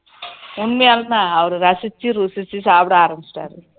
உன்மையாலுமே அவரு ரசிச்சி ருசிச்சி சாப்பிட ஆரம்பிச்சிட்டாரு